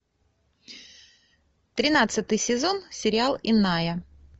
тринадцатый сезон сериал иная